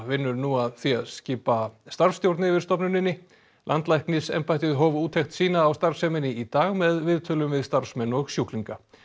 vinnur nú að því að skipa starfsstjórn yfir stofnuninni landlæknisembættið hóf úttekt sína á starfseminni í dag með viðtölum við starfsmenn og sjúklinga